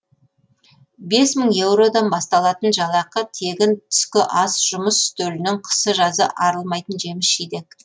бес мың еуродан басталатын жалақы тегін түскі ас жұмыс үстелінен қысы жазы арылмайтын жеміс жидек